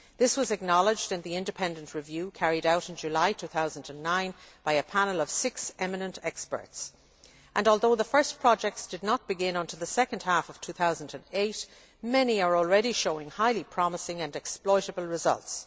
This was acknowledged in the independent review carried out in July 2009 by a panel of six eminent experts, and although the first projects did not begin until the second half of 2008, many are already showing highly promising and exploitable results.